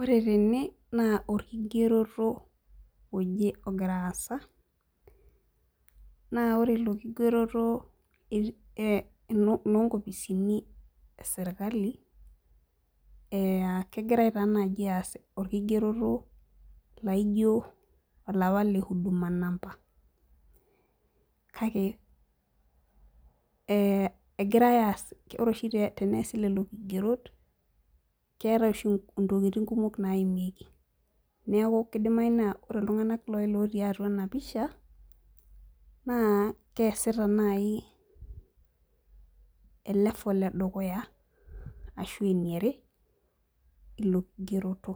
Ore tene naa orkigerito oje ogira aasa naa ore Ilo kigeroto naa iloo nkofisini esirkali, kegirai taanaaji aas ilo kigeroto laaijo olapa le huduma namba, kake ore oshi teneesi nena kigerot, keetae oshi ntokitin kumok naaimieki. Neeku kidimayu naa ore iltung'anak ootii ena pisha naa keesita elefol edukaya ashuu eniare ilokigeroto,